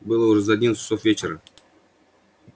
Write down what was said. было уже за одиннадцать часов вечера